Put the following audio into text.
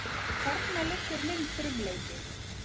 Þarna liggur minn frumleiki.